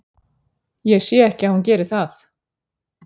Ég sé ekki að hún geri það.